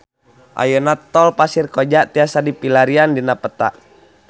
Ayeuna Tol Pasir Koja tiasa dipilarian dina peta